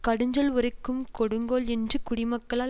கடுஞ்சொல் உரைக்கும் கொடுங்கோல் என்று குடிமக்களால்